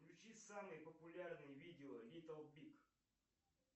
включи самые популярные видео литл биг